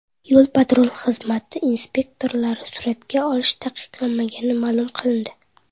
Yo‘l-patrul xizmati inspektorlarini suratga olish taqiqlanmagani ma’lum qilindi.